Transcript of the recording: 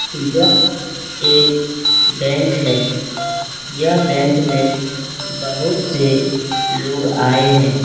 यह एक बैंक हैं । यह बैंक में बहुत से लोग आए हैं।